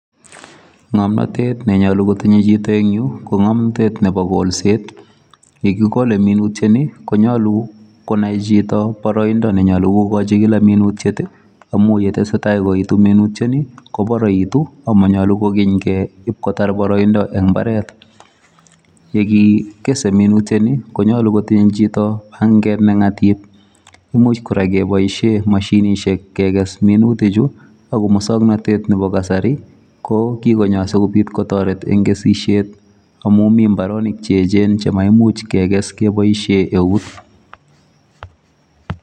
Ngomnotet ne nyolu kotinyei chito eng yu, ko ngomtet nebo kolset, ne kikole minutieni konyolu konai chito baraindo nenyolu kokochi kila minutiet amun ngo tesetai koetu minutioni koparaitu amanyolu ke ipkotaar baraindo eng imbaaret. Ye kikese minutioni, konyolu kotinye chito panget ne ngatip, imuch kora kepoishe mashinisiek kekes minutichu ako muswoknatet nebo kasari ko kikonyo asikopit kotoret eng kesisiet amun mi imbaaronik che echen chemaimuch kekes kepoishe eut.